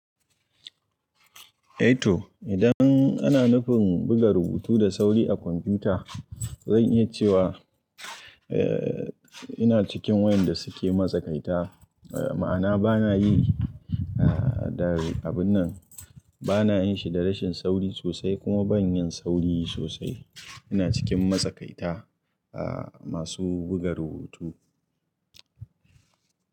Eh to idan ana nufin buga rubutu da sauri a kwamfuta, zan iya cewa, eh ina cikin waɗanda suke matsakaita. Ma'ana bana yi abun nan, bana yin shi da rashin sauri sosai kuma ban yin sauri sosai. Ina cikin matsakaita masu buga rubutu.